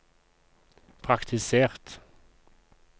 praktisert